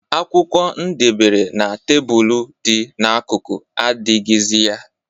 Akwụkwọ ndebere na tebulu dị n'akụkụ adịghịzị ya.